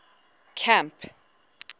camp